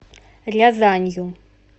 рязанью